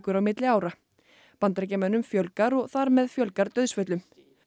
á milli ára Bandaríkjamönnum fjölgar og þar með fjölgar dauðsföllum